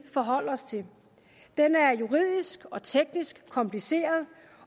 forholde os til den er juridisk og teknisk kompliceret